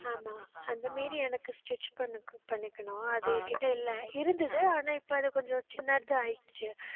ஆமா. அந்த மீறி எனக்கு stitch பண்ணு பண்ணிக்கணும். அது என்கிட்ட இல்லை. இருந்தது. ஆனா இப்ப அதை கொஞ்சம் சின்னதா ஆயிடுச்சு